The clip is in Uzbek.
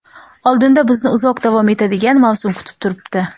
Oldinda bizni uzoq davom etadigan mavsum kutib turibdi.